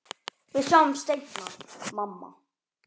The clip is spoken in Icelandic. Við sjáumst seinna, mamma.